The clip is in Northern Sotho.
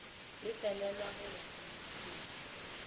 lefelelwa go ya ka mapheko